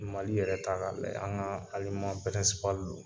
Mali yɛrɛ ta k'a lajɛ, an ka alima don.